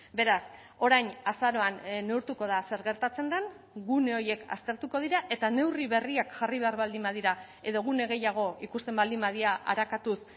beraz orain azaroan neurtuko da zer gertatzen den gune horiek aztertuko dira eta neurri berriak jarri behar baldin badira edo gune gehiago ikusten baldin badira arakatuz